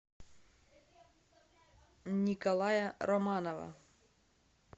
николая романова